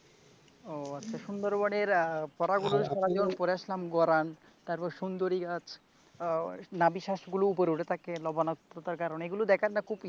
আচ্ছা সুন্দরবনের পড়াগুলো সারাজীবন পড়ে আসলাম গরান সুন্দরী গাছ উপরে উঠে থাকে লবণাক্ততার কারণে এগুলো দেখান না খুবই